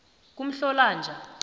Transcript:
kumhlolonja